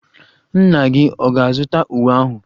Nna gị ọ̀ ga-azụta uwe ahụ?